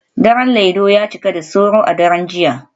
Daren Laido ya cika da sauro a daren jiya